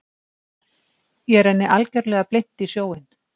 Ég renni algjörlega blint í sjóinn.